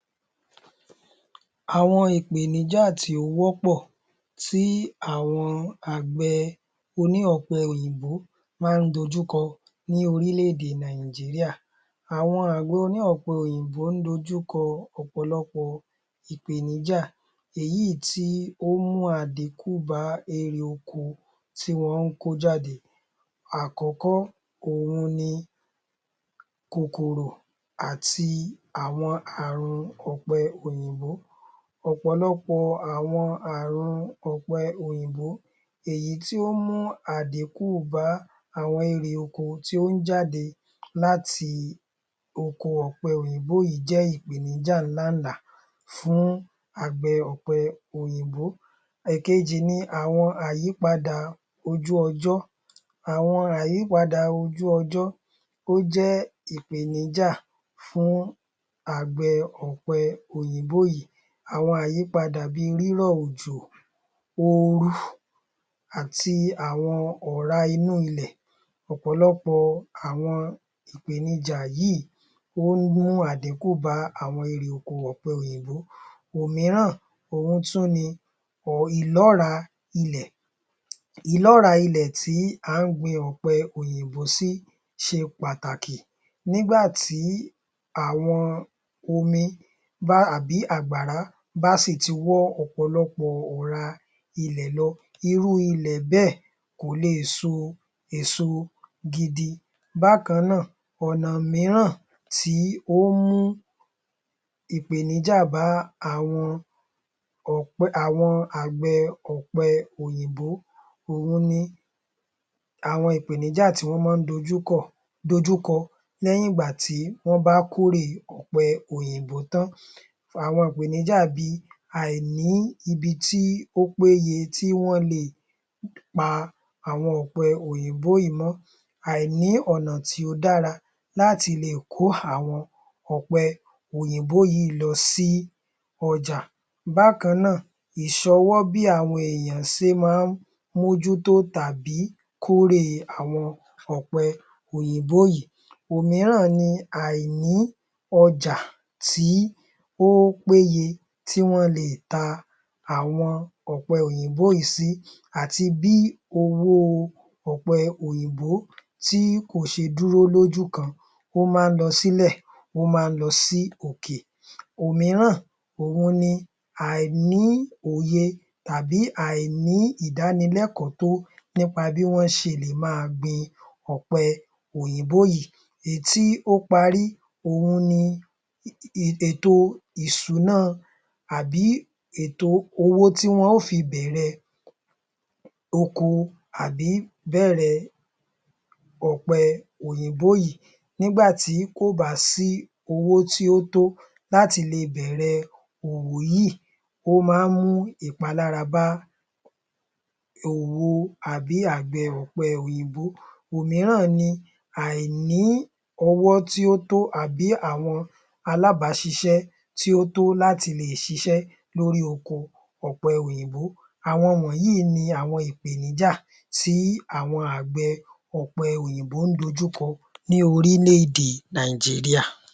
Àwọn ìpèníjá tí ó wọ́pọ̀ tí àwọn àgbẹ̀ oní ọ̀pẹ òyìnbó máa ń dojúkọ lórílẹ̀-èdè Nàìjíríà. Àwọn àgbẹ̀ oní ọ̀pẹ òyìnbó ń dojúkọ ọ̀pọ̀lọpọ̀ ìpèníjá èyí ti ó mú àdínkù bá irè oko tí wọ́n ń kó jáde. Àkọ́kọ́, òhun ni kòkòrò àti àwọn àrun ọ̀pẹ òyìnbó. Ọ̀pọ̀lọpọ̀ àrun ọ̀pẹ òyìnbó èyí tó ń mú àdínkù bá àwọn irè oko tó ń jáde láti oko ọ̀pẹ òyìnbó yìí jẹ́ ìpèníjá láǹlà fún àgbẹ̀ ọ̀pẹ òyìnbó. Ìkejì ni àyípadà ojú ọjọ́. Àwọn àyípadà ojú ọjọ́ ó jẹ́ ìpèníjá fún àgbẹ̀ ọ̀pẹ òyìnbó yìí. Àwọn àyípadà bí i rírọ̀ òjò, oorun ati àwọn ọ̀rá inú ilẹ̀. Ọ̀pọ̀lọpọ̀ àwọn ìpèníjá yìí ó ń mú àdínkù bá àwọn irè oko ọ̀pẹ òyìnbó. Òmíràn òhun tún ni ìlọ́ọ̀rá ilẹ̀. Ìlọ́ọ̀rá ilẹ̀ tí à ń gbin ọ̀pẹ òyìnbó sí ṣe pàtàkì, nígbà tí àwọn omi bá sì ti wọ́ ọ̀rá ilẹ̀ lọ irú ilẹ̀ bẹ́ẹ̀ kò lè e so èso gidi. Bákan náà, ọ̀nà mìíràn tí ó ń mú ìpèníjá bá àwọn ọ̀pẹ àwọn àgbẹ̀ ọ̀pẹ òyìnbó òhun ni, àwọn ìpèníjá tí wọ́n mọ́ dojúkọ̀ dojúkọ lẹ́yìn ìgbà tí wọ́n bá kórè ọ̀pẹ òyìnbó tán. Àwọn ìpèníjá bi àìní ibi tí ó péye tí wọ́n lè pa àwọn ọpẹ òyìnbó yìí mọ́, àìní ọ̀nà tí ó dára láti lè kó àwọn ọ̀pẹ òyìnbó yìí lọ sí ọjà. Bákan náà, ìṣọwọ́ bí àwọn èèyàn ṣe mọ́ ń mójútó tàbí kórè àwọn ọ̀pẹ òyìnbó yìí. Òmíràn ni àìní ọjà tí ó péye tí wọ́n lè ta àwọn ọ̀pẹ òyìnbó yìí sí àti bí owó ọpẹ òyìnbó kò ṣe dúró lójú kan ó máa ń lọ sílẹ̀ ó máa ń lọ sí òkè. Òmíràn ni àìní òye tàbí àìní ìdánilẹ́kọ̀ọ́ tó nípa bí wọ́n ṣe lè máa gbin ọ̀pẹ òyìnbó yìí. Èyí tí ó parí, ètò ìsúná tàbí owó tí wọn yóò fi bẹ̀rẹ ọ̀pẹ òyìnbó yìí, nígbà tí kò bá sí owó tí ó tó láti le bẹ̀rẹ̀ òwò yìí, ó máa ń mú ìpalára bá òwò tàbí àgbẹ̀ ọ̀pẹ òyìnbó yìí. Òmíràn ni àìní ọwọ́ tí ó tó àbí àwọn alábàáṣiṣẹ́ tí ó tó láti lè ṣiṣẹ́ lórí oko ọ̀pẹ òyìnbó, àwọn wọ̀nyí ni àwọn ìdojúkọ tí àwọn àgbẹ̀ ọ̀pẹ òyìnbó ń dojúkọ ní orílẹ̀ - èdè Nàìjíríà.